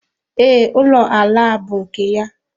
Ee, ụlọ ala a bú nke ya.